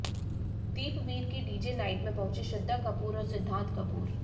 दीपवीर की DJ night में पहुंचे श्रद्धा कपूर और सिद्धांत कपूर